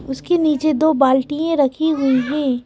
उसके नीचे दो बाल्टियां रखी हुई है।